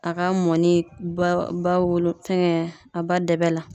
A ka mɔni ba ba wolo fɛngɛ a ba dɛbɛ la.